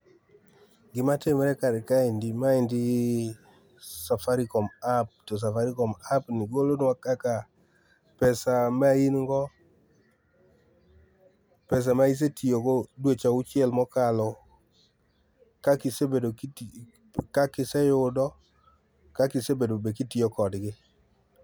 Gima timre kar kaendi ,maendi safarikom app to Safarikom apni golonwa kaka pesa maingo pesa ma isee tiyogo dweche auchiel mokalo, kakiisebedo, kakisee yudo kakisebedo be kitiyo kodgi.